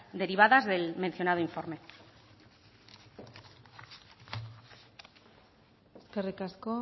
derivadas del mencionado informe eskerrik asko